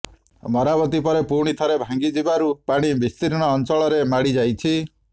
ମରାମତି ପରେ ପୁଣି ଥରେ ଭାଙ୍ଗି ଯିବାରୁ ପାଣି ବିସ୍ତୀର୍ଣ୍ଣ ଅଞ୍ଚଳରେ ମାଡ଼ି ଯାଇଛି